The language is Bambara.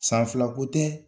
San fila ko tɛ,